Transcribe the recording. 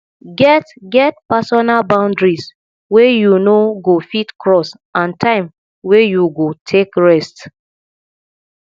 get get personal boundaries wey you no go fit cross and time wey you go take rest